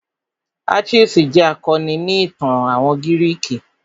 Achilles jẹ́ akọni ni ìtàn àwọn gírìkì.